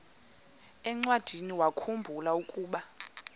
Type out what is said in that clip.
encwadiniwakhu mbula ukuba